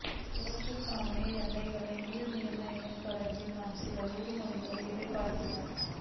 இவற்றுக்கமைய எல்லைகள் மீள் நிர்ணயம் தொடர்பில் நாம் சில உறுதிமொழிகளை எதிர்பார்க்கின்றோம்